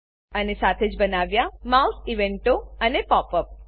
અને સાથે જ બનાવ્યા માઉસ ઇવેન્ટો અને પોપ અપ